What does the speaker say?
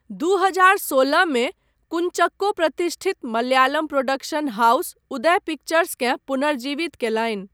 दू हजार सोलहमे, कूंचक्को प्रतिष्ठित मलयालम प्रोडक्शन हाउस उदय पिक्चर्सकेँ पुनर्जीवित कयलनि।